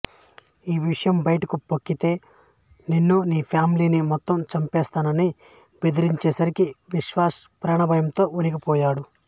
ఈ విషయం బయటకు పొక్కితే నిన్నూ నీ ఫ్యామిలీని మొత్తం చంపేస్తానని బెదిరించేసరికి విశ్వాస్ ప్రాణభయంతో వణికిపోయాడు